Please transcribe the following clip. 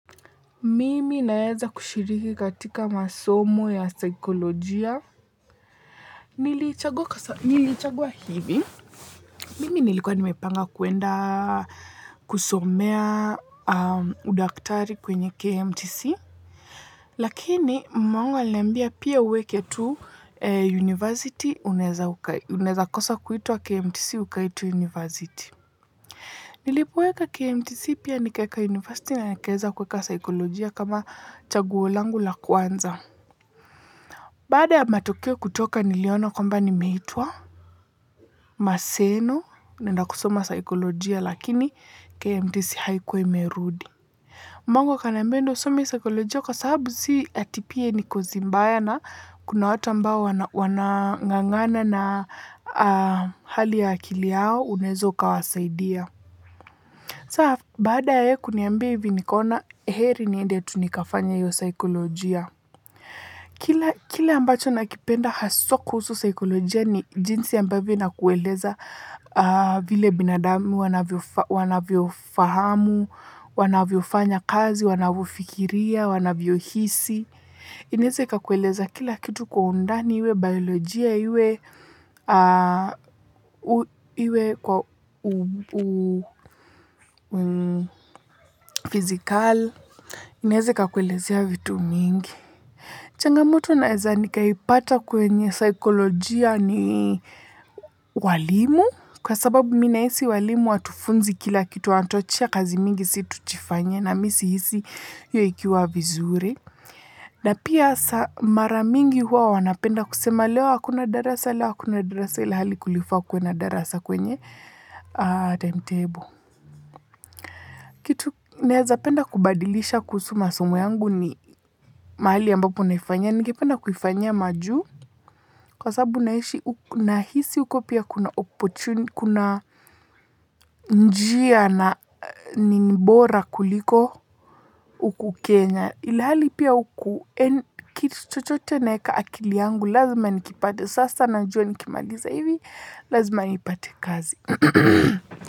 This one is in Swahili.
Mimi naweza kushiriki katika masomo ya saikolojia, niliichagua hivi. Mimi nilikuwa nimepanga kuenda kusomea udaktari kwenye KMTC. Lakini mamangu aliniambia pia uweke tu university unaweza kosa kuitwa KMTC ukaitwa university. Nilipoweka KMTC pia nikaweka university na nikaweza kuweka saikolojia kama chaguo langu la kwanza. Baada ya matokeo kutoka niliona kwamba nimeitwa Maseno naenda kusomo saikolojia lakini KMTC haikuwa imerudi. Mama yangu akaniambia nenda usome hii saikolojia kwa sababu si mbaya na kuna watu ambao wanangangana na hali ya akili yao unaweza kuwasaidia. Saa baada ya yeye kuniambia hivi nikona heri niende tu nikafanye hiyo. Saikolojia. Kile ambacho nakipenda haswa kuhusu saikolojia ni jinsi ambavyo inakueleza vile binadamu wanavyofahamu, wanavyofanya kazi, wanavyofikiria, wanavyohisi. Inaweza ikakueleza kila kitu kwa undani, iwe biolojia, iwe fizikal. Inaweza ikakueleza vitu vingi. Changamoto naweza nikaipata kwenye saikolojia ni walimu kwa sababu mimi nahisi walimu hawatudunzi kila kitu, wanatupa kazi nyingi tufanye na mimi sihisi hiyo ikiwa vizuri. Na pia mara mingi huwa wanapenda kusema leo hakuna darasa, leo hakuna darasa, ilhali kulifaa kuwe na darasa kwenye timetable. Kitu naweza penda kubadilisha kuhusu masomo yangu ni mahali ambapo naifanyia. Nikipenda kuifanyia majuu kwa sababu nahisi uko pia kuna opportunity, kuna njia na ni bora kuliko huku Kenya. Ilhali pia huku, kitu chochoche naweka akili yangu lazima nikipate. Sasa najua nikimaliza hivi, lazima nipate kazi.